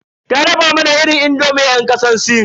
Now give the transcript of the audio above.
Ta dafa mana irin indomin yan kasar sin.